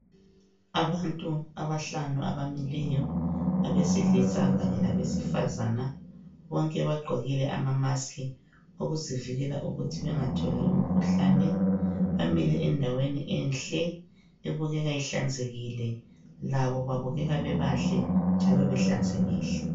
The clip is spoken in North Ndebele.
Abantu abahlanu abamileyo besilisa kanye labesifazana bonke bagqokile ama mask ukuzivikela ukuthi bengatholi umkhuhlane bamile endaweni enhle ebukeka ihlanzekile labo babukeka bebahle njalo behlanzekile.